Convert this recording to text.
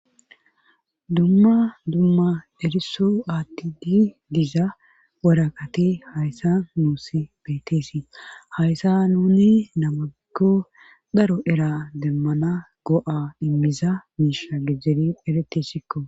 Dumma dumma eriso aatti di diza worakati hayssa nuus beeteesi hayssa nuni namakko dharo era demmana go7a immiza miisha gejeri eretessikko